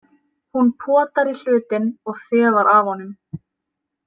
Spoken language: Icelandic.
Hún potar í hlutinn og þefar af honum.